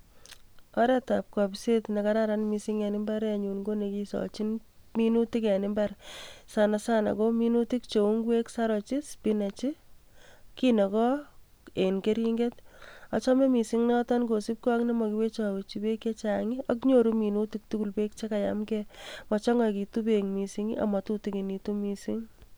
Oreetab kobiset nekararan mising en imbarenyun ko nekisochin minutik en imbar sana sana ko minutik cheu ing'wek, saroch, spinach, kinokoo en kering'et, achome mising noton kosipkee ak nemokiwecho wechi beek ak nyoru minutik tukul beek chekayamke, mochong'oitu beek mising amatutukinitu mising.